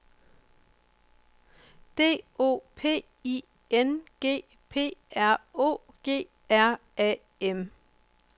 D O P I N G P R O G R A M